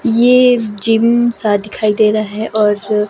ये जिम सा दिखाई दे रहा है और --